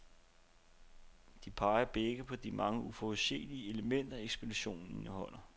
De peger begge på de mange uforudsigelige elementer, ekspeditionen indeholder.